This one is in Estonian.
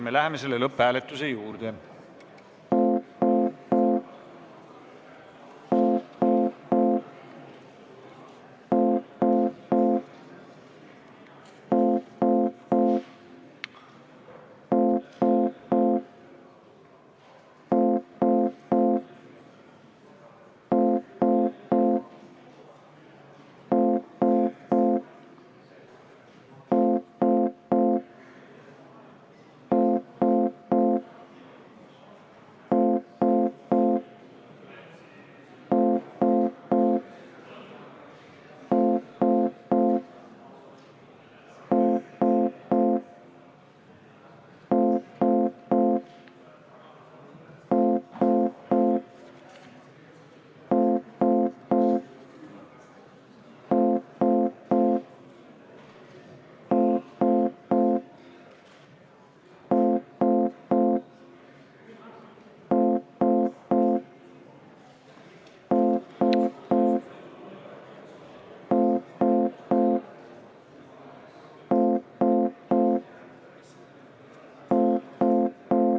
Me läheme selle lõpphääletuse juurde.